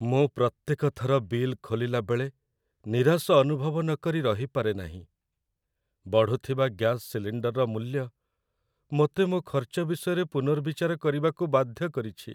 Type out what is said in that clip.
ମୁଁ ପ୍ରତ୍ୟେକ ଥର ବିଲ୍ ଖୋଲିଲା ବେଳେ ନିରାଶ ଅନୁଭବ ନକରି ରହିପାରେ ନାହିଁ। ବଢୁଥିବା ଗ୍ୟାସ୍ ସିଲିଣ୍ଡର୍‌‌ର ମୂଲ୍ୟ ମୋତେ ମୋ ଖର୍ଚ୍ଚ ବିଷୟରେ ପୁନର୍ବିଚାର କରିବାକୁ ବାଧ୍ୟ କରିଛି।